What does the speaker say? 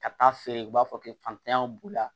Ka taa feere u b'a fɔ k'e fantanya b'u la